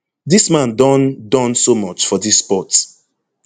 dis man don Accepted so much for dis sport